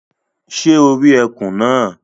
Sé o rí ekùn náà